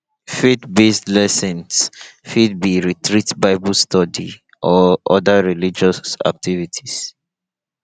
faith based lessons fit be retreat bible study or oda religious activities